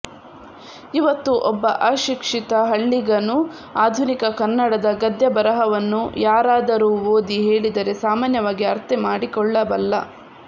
ಇವತ್ತು ಒಬ್ಬ ಅಶಿಕ್ಷಿತ ಹಳ್ಳಿಗನೂ ಆಧುನಿಕ ಕನ್ನಡದ ಗದ್ಯ ಬರಹವನ್ನು ಯಾರಾದರೂ ಓದಿ ಹೇಳಿದರೆ ಸಾಮಾನ್ಯವಾಗಿ ಅರ್ಥಮಾಡಿಕೊಳ್ಳಬಲ್ಲ